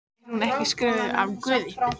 Er hún ekki skrifuð af Guði?